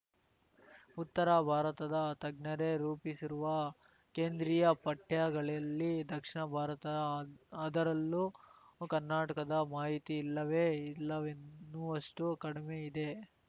ಉತ್ತರ ಭಾರತದ ತಜ್ಞರೇ ರೂಪಿಸಿರುವ ಕೇಂದ್ರೀಯ ಪಠ್ಯಗಳಲ್ಲಿ ದಕ್ಷಿಣ ಭಾರತ ಅದರಲ್ಲೂ ಕರ್ನಾಟಕದ ಮಾಹಿತಿ ಇಲ್ಲವೇ ಇಲ್ಲವೆನ್ನುವಷ್ಟುಕಡಿಮೆಯಿದೆ